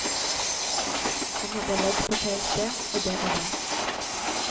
Han hadde ledd på feil sted, og det var det.